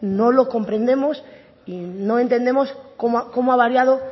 no lo comprendemos y no entendemos cómo ha variado